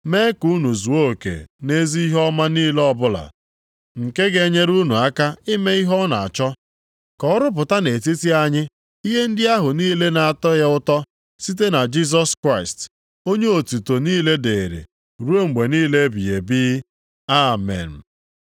mee ka unu zuo oke nʼezi ihe ọma niile ọbụla, nke ga-enyere unu aka ime ihe ọ na-achọ. Ka ọ rụpụta nʼetiti anyị ihe ndị ahụ niile na-atọ ya ụtọ site na Jisọs Kraịst, onye otuto niile dịrị ruo mgbe niile ebighị ebi. Amen.